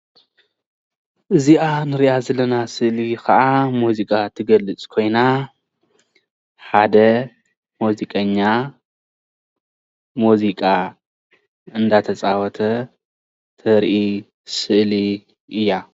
እዚኣ ዘለና ስእሊ ከዓ መዝቃ ትገልፅ ኮይና፣ ሓደ መዚቀኛ ሙዚቃ እዳተፃወተ እተርኢ ስእሊ እያ።